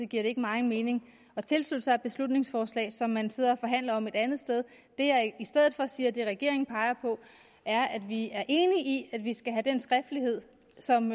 giver det ikke meget mening at tilslutte sig et beslutningsforslag som man sidder og forhandler om et andet sted det jeg i stedet for siger og det regeringen peger på er at vi er enige i at vi skal have den skriftlighed som